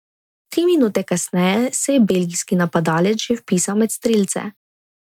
Tri minute kasneje se je belgijski napadalec že vpisal med strelce.